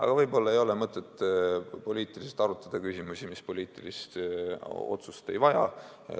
Ja võib-olla ei ole mõtet poliitiliselt arutada küsimusi, mis poliitilist otsust ei vaja.